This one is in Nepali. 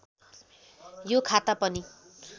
यो खाता पनि